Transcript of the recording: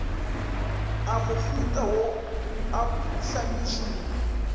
a mohuta wo a phuhlamišwa